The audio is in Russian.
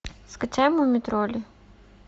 скачай муми тролли